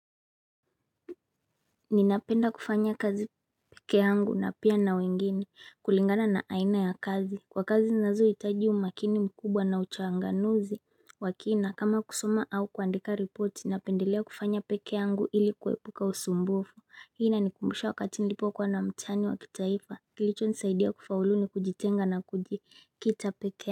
Ninapenda kufanya kazi pekeangu na pia na wengine kulingana na aina ya kazi. Kwa kazi zinazohitaji umakini mkubwa na uchanganuzi wa kina kama kusoma au kuandika reporti napendelea kufanya pekeangu ili kuepuka usumbufu. Hii inanikumbusha wakati nilipokuwa na mtihani wa kitaifa kilichonisaidia kufaulu ni kujitenga na kujikita peke.